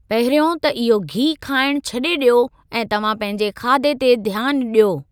पहिरियों त इहो घी खाइणु छॾे ॾियो ऐं तव्हां पंहिंजे खाधे ते ध्यानु ॾियो।